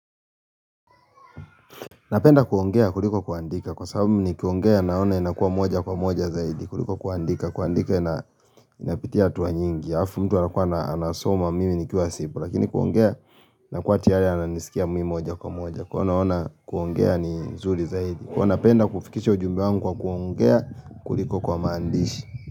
Napenda kuongea kuliko kuandika, kwa sababu nikiongea naona inakua moja kwa moja zaidi, kuliko kuandika, kuandika inapitia hatua nyingi, halafu mtu anakua anasoma mimi nikuwa sipo, lakini kuongea na kwa chiaya ananisikia mimi moja kwa moja, kwa hiyo naona kuongea ni nzuri zaidi. Huwa napenda kufikisha ujumbe wangu kwa kuongea kuliko kwa maandishi.